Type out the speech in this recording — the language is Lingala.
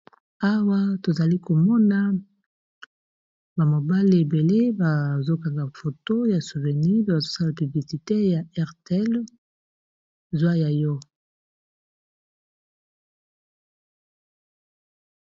Awa tozali komona ba mobale ebele bazokanga foto ya souvenir pe bazosala piblisite ya Airtel zwa ya yo.